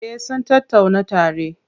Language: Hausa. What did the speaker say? Eh sun tattauna tare.